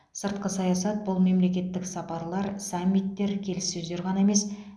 сыртқы саясат бұл мемлекеттік сапарлар саммиттер келіссөздер ғана емес